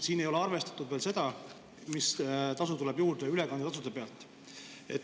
Siin ei ole arvestatud seda, mis tuleb juurde ülekandetasudena.